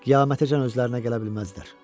Qiyamətəcən özlərinə gələ bilməzdilər.